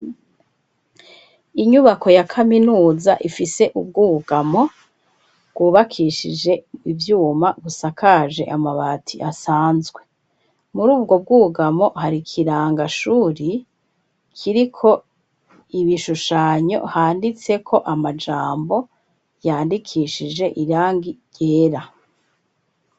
Inyubako ya kaminuza ifise ubwugamo bwubakishije ivyuma, rusakaje amabati asanzwe. Muri ubwo bwugamo hari kirangashuri kiriko ibishushanyo handitseko amajambo yandikishije irangi ryera.